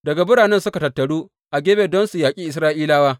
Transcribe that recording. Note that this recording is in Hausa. Daga biranensu suka tattaru a Gibeya don su yaƙi Isra’ilawa.